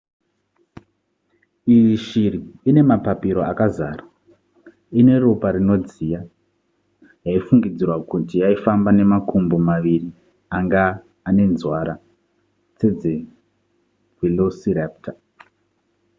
iyi ishiri ine mapapiro akazara ine ropa rinodziya yaifungidzirwa kuti yaifamba nemakumbo maviri anga anenzwara sedzevelociraptor